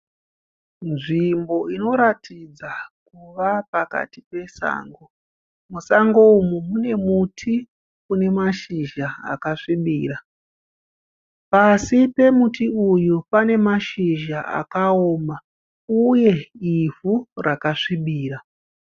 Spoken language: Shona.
Nzvimbo inoratidza kuva pakati pesango, musango umu mune muti une mashizha akasvibira, pasi pemuti uyu pane mashizha akaoma uye ivhu rakasvibira.